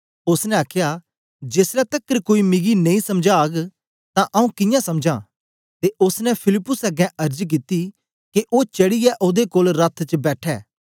ओसने आखया जेसलै तकर कोई मिगी नेई समझाग तां आंऊँ कियां समझां ते ओसने फिलिप्पुस अगें अर्ज कित्ती के ओ चढ़ीयै ओदे कोल रथ च बैठे